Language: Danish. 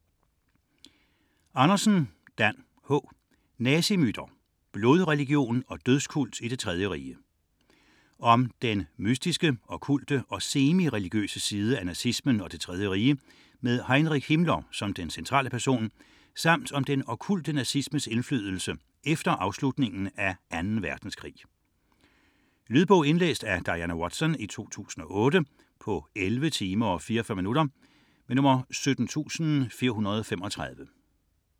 32.241 Andersen, Dan H.: Nazimyter: blodreligion og dødskult i Det Tredje Rige Om den mystiske, okkulte og semi-religiøse side af nazismen og Det Tredje Rige med Heinrich Himmler som den centrale person samt om den okkulte nazismes indflydelse efter afslutningen af 2. verdenskrig. Lydbog 17435 Indlæst af Diana Watson, 2008. Spilletid: 11 timer, 44 minutter.